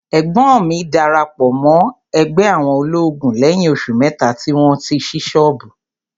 Ẹ̀gbọ́n mi darapọ̀ mọ́ ẹgbẹ́ àwọn olóògùn lẹ́yìn oṣù mẹ́ta tí wọ́n ṣí ṣọ́ọ̀bù.